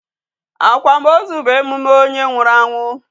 Akwamozu bụ emume onye nwụrụ anwụ.